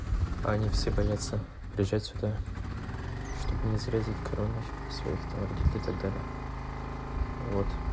они все боятся приезжать сюда чтобы не заразить короной своих там родителей и так далее вот